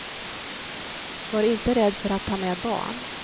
Var inte rädd för att ta med barn.